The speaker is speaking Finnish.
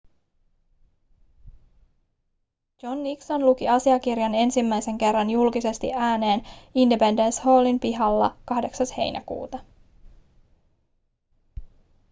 john nixon luki asiakirjan ensimmäisen kerran julkisesti ääneen independence hallin pihalla 8 heinäkuuta